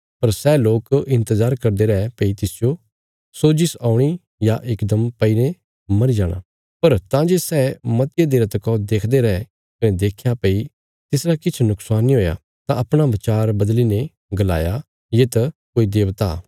पर सै लोक इन्तजार करदे रै भई तिसजो सोजिश औणी या इकदम पईने मरी जाणा पर तां जे सै मतिया देरा तका देखदे रै कने देख्या भई तिसरा किछ नुक्शान नीं हुया तां अपणा बचार बदली ने गलाया ये तां कोई देबता